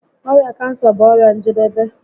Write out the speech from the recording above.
Ọrịa kansa bụ ọrịa njedebe